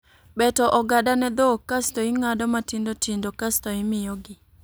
Beto ogada ne dhok, kasto ing'ado matindo tindo kasto imiyo gi